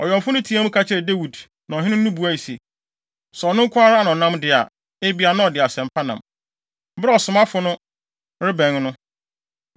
Ɔwɛmfo no teɛɛ mu ka kyerɛɛ Dawid na ɔhene no buae se, “Sɛ ɔno nko ara na ɔnam de a, ebia, na ɔde asɛm pa nam.” Bere a ɔsomafo no rebɛn no,